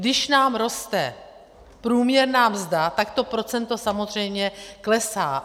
Když nám roste průměrná mzda, tak to procento samozřejmě klesá.